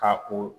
K'a ko